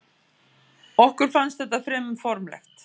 Okkur fannst þetta fremur formlegt.